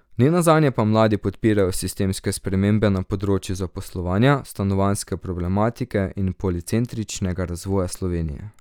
Ne nazadnje pa mladi podpirajo sistemske spremembe na področju zaposlovanja, stanovanjske problematike in policentričnega razvoja Slovenije.